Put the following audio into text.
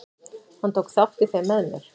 Hann tók þátt í þeim með mér.